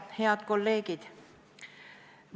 Head kolleegid!